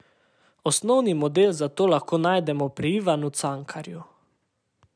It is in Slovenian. Osnovni model za to lahko najdemo pri Ivanu Cankarju.